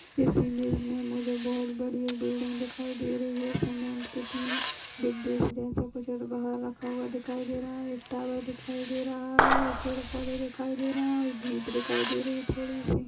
इस इमेज में मुझे बहोत बड़ी एक बिल्डिंग दिखाई दे रही है। समेन्ट के तीन डिब्बे जैसा कुछ बाहर रखा हुआ दिखाई दे रहा है। एक टावर दिखाई दे रहा है और पेंड़ - पौधे दिखाई दे रहे हैं और जीप दिखाई दे रही है। थोड़ी सी --